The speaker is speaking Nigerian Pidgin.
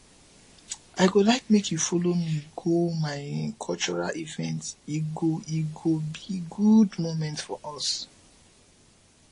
i go like make you follow me go my cultural event e go e go be good moment for us